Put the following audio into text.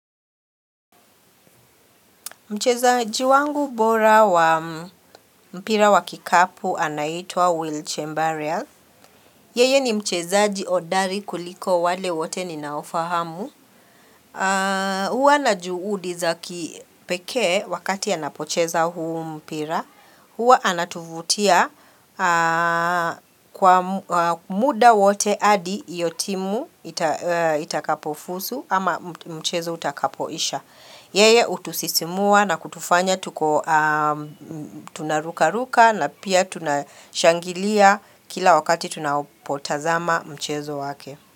Mchezaji wangu bora wa mpira wa kikapu anaitwa Will Chambaria Yeye ni mchezaji hodari kuliko wale wote ninaofahamu. Hua na juudi za kipekee wakati anapocheza huu mpira. Hua anatuvutia kwa muda wote adi hio timu itakapofuzu ama mchezo utakapoisha. Yeye utusisimua na kutufanya tuko tunaruka ruka na pia tunashangilia kila wakati tunapotazama mchezo wake.